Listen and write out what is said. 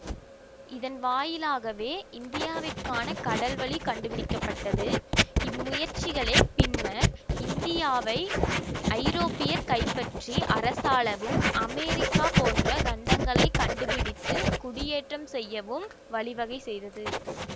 இதன் வாயிலாகவே இந்தியாவிற்கான கடல் வழி கண்டுபிடிக்க பட்டது இம்முயற்சிகளே பின்னர் இந்தியாவை ஐரோப்பியர் கைப்பற்றி அரசாளவும் அமெரிக்கா போன்ற கண்டங்களைக் கண்டுபிடித்துக் குடியேற்றம் செய்யவும் வழிவகை செய்தது